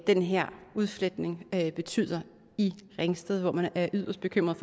den her udfletning betyder i ringsted hvor man er yderst bekymrede